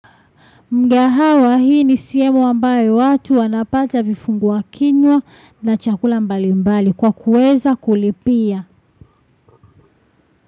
Mkahawa hii ni sehemu ambaye watu wanapata vifungua kinywa na chakula mbali mbali kwa kuweza kulipia.